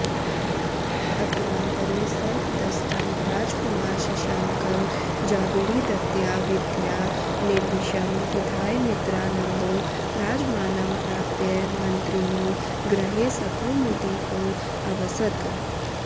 अत्रान्तरे सर्पदष्टं राजकुमार शशाङ्कं जागुलीदत्तया विद्यया निर्विषं विधाय मित्रानन्दो राजमानं प्राप्य मन्त्रिणो गृहे सकौमुदीकोऽवसत्